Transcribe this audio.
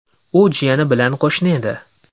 U jiyani bilan qo‘shni edi.